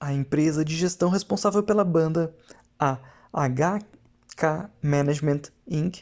a empresa de gestão responsável pela banda a hk management inc